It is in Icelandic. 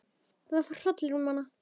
Það fór hrollur um hana.